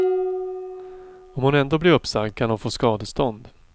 Om hon ändå blir uppsagd kan hon få skadestånd.